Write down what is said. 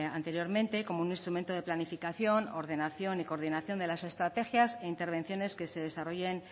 anteriormente como un instrumento de planificación ordenación y coordinación de las estrategias e intervenciones que se desarrollen